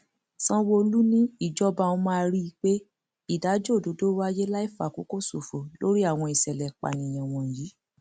sanwóolu ni ìjọba òun máa rí i pé ìdájọ òdodo wáyé láì fàkókò ṣòfò lórí àwọn ìṣẹlẹ ìpànìyàn wọnyí